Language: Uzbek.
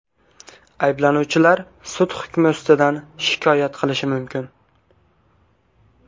Ayblanuvchilar sud hukmi ustidan shikoyat qilishi mumkin.